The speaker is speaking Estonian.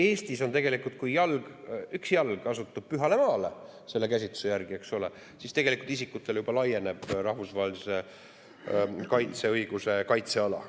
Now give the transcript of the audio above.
Eestis on tegelikult nii, et kui jalg astub pühale maale, siis selle käsituse järgi, eks ole, tegelikult isikutele juba laieneb rahvusvahelise õiguse kaitseala.